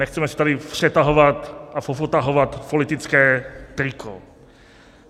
Nechceme se tady přetahovat a popotahovat politické triko.